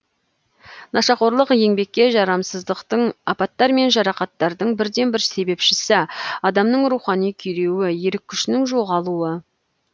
нашақорлық еңбекке жарамсыздықтың апаттар мен жарақаттардың бірден бір себепшісі адамның рухани күйреуі ерік күшінің жоғалуы